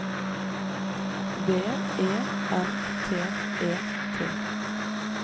V E N T E T